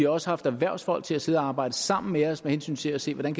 også haft erhvervsfolk til at sidde og arbejde sammen med os med hensyn til at se hvordan